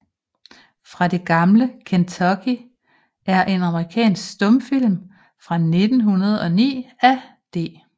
Fra det gamle Kentucky er en amerikansk stumfilm fra 1909 af D